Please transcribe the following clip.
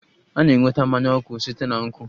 A na-enweta mmanya nkwụ site na nkwụ